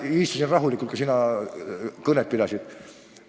Mina istusin rahulikult, kui sina kõnet pidasid.